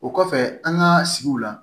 O kɔfɛ an ka sigiw la